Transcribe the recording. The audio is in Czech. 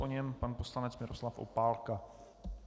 Po něm pan poslanec Miroslav Opálka.